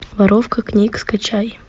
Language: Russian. воровка книг скачай